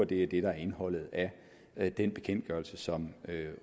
det er det der er indholdet af den bekendtgørelse som